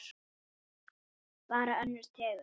Bara önnur tegund.